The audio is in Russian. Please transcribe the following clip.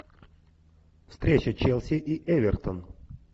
встреча челси и эвертон